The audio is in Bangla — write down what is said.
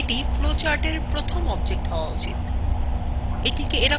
এটি flowchartএর প্রথম object হওয়া উচিত